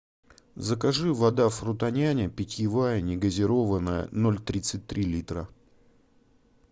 закажи вода фрутоняня питьевая негазированная ноль тридцать три литра